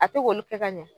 A tɛ k'olu kɛ ka ɲɛ